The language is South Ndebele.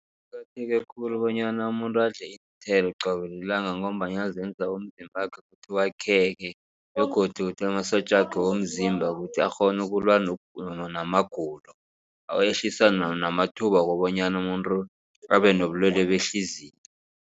Kuqakatheke khulu bonyana umuntu adle iinthelo qobe lilanga. Ngombana zenza umzimbakhe ukuthi kwakheke begodu ukuthi amasotjakhe womzimba ukuthi akghona ukulwa namagulo awehlisa namathuba wokobanyana umuntu abe nobulwale behliziyo.